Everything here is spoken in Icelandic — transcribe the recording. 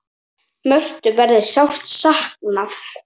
Mörthu verður sárt saknað.